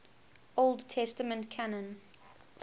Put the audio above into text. old testament canon